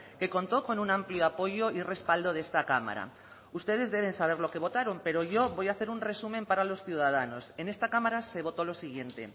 que contó con un amplio apoyo y respaldo de esta cámara ustedes deben saber lo que votaron pero yo voy a hacer un resumen para los ciudadanos en esta cámara se votó lo siguiente